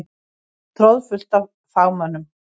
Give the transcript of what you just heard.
Troðfullt af fagmönnum.